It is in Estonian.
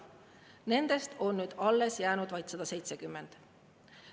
Nendest on nüüd alles jäänud vaid 170.